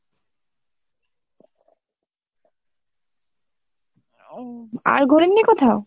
ও আর ঘোরেননি কোথাও?